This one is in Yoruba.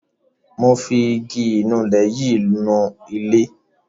Mo fi igi ìnulẹ̀ yìí nu ilẹ̀.